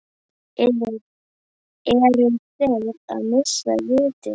Eru þeir að missa vitið?